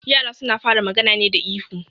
Yara suna fara magana ne da ihu